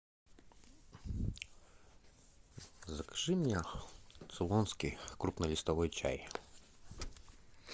закажи мне цейлонский крупнолистовой чай